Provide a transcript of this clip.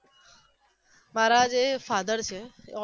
મારા જે father છે એ